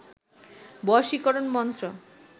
বশীকরন মন্ত্র